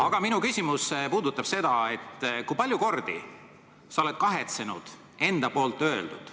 Aga minu küsimus puudutab seda, kui palju kordi sa oled kahetsenud enda poolt öeldut.